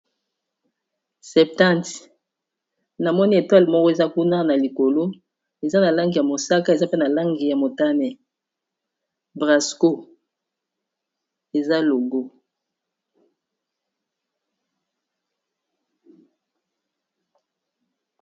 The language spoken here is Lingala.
septante na moni etwale moko eza kuna na likolo eza na langi ya mosaka eza pe na langi ya motane brasco eza logo